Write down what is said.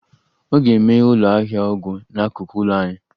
Ọ ga-emeghe ụlọ ahịa ọgwụ n'akụkụ ụlọ anyị